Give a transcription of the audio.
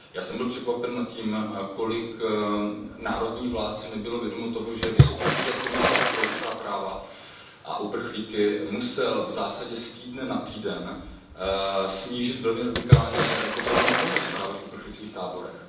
Já jsem byl překvapen tím, kolik národních vlád si nebylo vědomo toho, že Úřad vysokého komisaře pro lidská práva a uprchlíky musel v zásadě z týdne na týden snížit velmi radikálně potravinovou pomoc právě v uprchlických táborech.